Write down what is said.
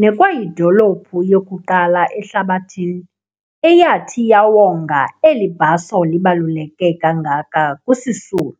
nekwayidoluphu yokuqala ehlabathini eyathi yawonga eli bhaso libaluleke kangaka kuSisulu.